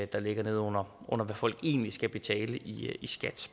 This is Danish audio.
der ligger neden under hvad folk egentlig skal betale i skat